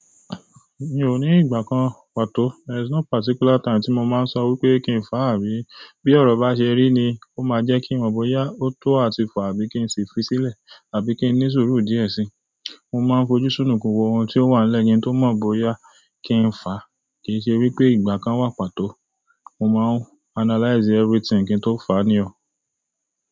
Mi ò ní ìgbà kan pàtó. There's no particular time tí mo máa ń sọ wípé kí n fà àbí. Bí ọrọ bá ṣe rí ni ó máa jẹ́ kí n mọ̀ bóyá ó tó àti fà àbí kí n sì fi sílẹ̀, àbí kí n ní sùúrù díẹ̀ sí i. Mo máa ń fojú súnù ku wo ohun tí ó wà n lẹ yẹn tó mọ̀ bóyá kí n fà. Kì í ṣe wípé ìgbà kan wà pàtó. Mo máa ń analyze everything kí n tó fà ní ọ̀.